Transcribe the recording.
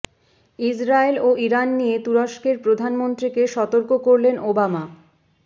Israel ও Iran নিয়ে তুরস্কের প্রধানন্ত্রীকে সতর্ক করলেন ওবামা